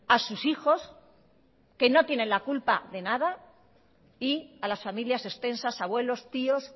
a sus hijos que no tienen la culpa de nada y a las familias extensas abuelos tíos